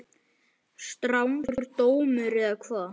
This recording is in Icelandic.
Strangur dómur eða hvað?